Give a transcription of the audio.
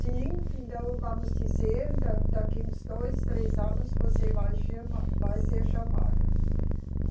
Sim, então vamos dizer, da, daqui uns dois, três anos você vai chama, vai ser chamado.